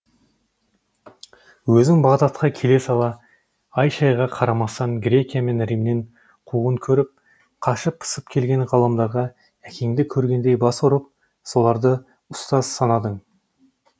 өзің бағдадқа келе сала ай шайға қарамастан грекия мен римнен қуғын көріп қашып пысып келген ғалымдарға әкеңді көргендей бас ұрып соларды ұстаз санадың